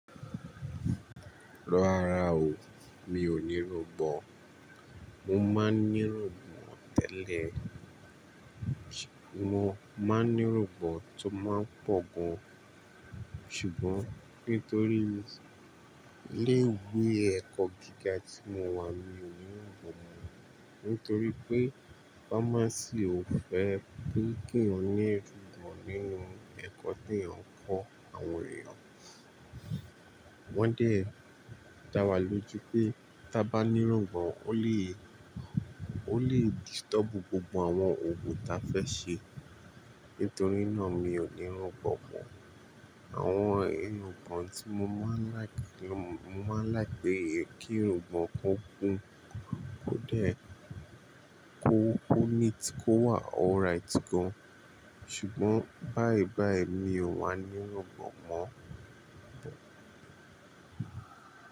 Rọ́ra o, mi ò ní irungbọ̀n. Mo máa ń ní irungbọ̀n tẹ́lẹ̀. Mo máa ń ní irungbọ̀n tó máa ń pọ̀ gan. Ṣùgbọ́n nítorí ilé ìwé ẹ̀kọ́ gíga tí mo wà mi ò ní irungbọ̀n mọ. Nítorí pé pharmacy ò fẹ́ pé kí o ní irungbọ̀n nínú ẹ̀kọ́ tí o ń kọ́ àwọn èèyàn. Wọ́n dẹ̀ dá wa lójú pé tí a bá ní irungbọ̀n o le, o le disturb gbogbo àwọn ogun tí a fẹ́ ṣe. Nítorí náà mi ò ní irungbọ̀n mọ. Àwọn irungbọ̀n tí mo máa ń like, mo máa ń like pé kí irungbọ̀n kó kun, kó dẹ́, kó, kó neat, kó wà alright gan. Ṣùgbọ́n báìbàí mi ò wà ní irungbọ̀n mọ.